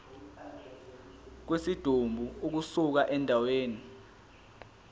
kwesidumbu ukusuka endaweni